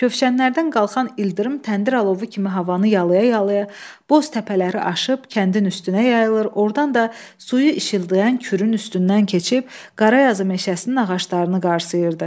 Kövşənlərdən qalxan ildırım təndir alovu kimi havanı yalaya-yalaya, boz təpələri aşıb kəndin üstünə yayılır, ordan da suyu işıldayan Kürün üstündən keçib Qarayazı meşəsinin ağaclarını qarsayırdı.